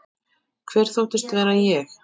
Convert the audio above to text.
Hver þóttist ég vera?